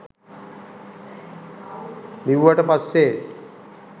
බිව්වට පස්සේ